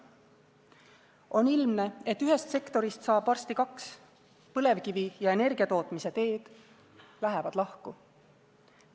On ilmne, et ühest sektorist saab varsti kaks: põlevkivi ja energiatootmise teed lähevad lahku.